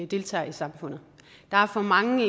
deltager i samfundet der er for mange